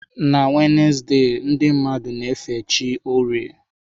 Na Wednesde, ndị mmadụ na-efe chi orie.